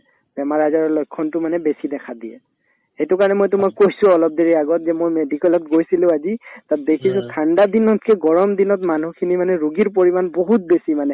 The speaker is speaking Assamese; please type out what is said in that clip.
বেমাৰ-আজাৰৰ লক্ষণতো মানে বেছি দেখা দিয়ে সেইটো কাৰণে মই তোমাক কৈছো অলপ দেৰি আগত যে মই medical ত গৈছিলো আজি তাত বেছিকে ঠাণ্ডা দিনতকে গৰম দিনত মানুহখিনি মানে ৰুগীৰ পৰিমাণ বহুত বেছি মানে